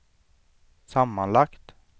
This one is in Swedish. sammanlagt